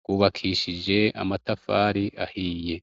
rwubakishije amatafari ahiye.